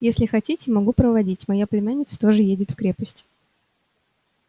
если хотите могу проводить моя племянница тоже едет в крепость